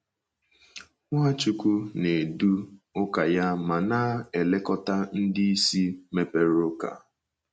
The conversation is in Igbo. Nwachukwu na - edu ụka ya ma na - elekọta ndị isi mepere ụka